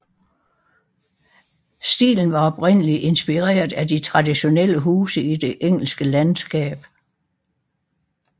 Stilen var oprindeligt inspireret af de traditionelle huse i det engelske landskab